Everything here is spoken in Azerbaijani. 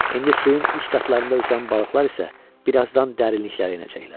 İndi suyun üst qatlarında üzən balıqlar isə birazdan dərinliklərə enəcəklər.